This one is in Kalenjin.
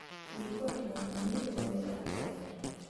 riib koot ng'ung' manyoru koroitab korona